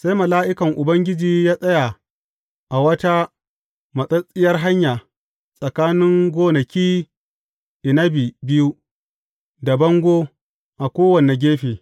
Sai mala’ikan Ubangiji ya tsaya a wata matsattsiyar hanya tsakanin gonaki inabi biyu, da bango a kowane gefe.